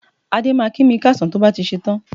Adé máa kí mi káàsán tó bá ti ṣetán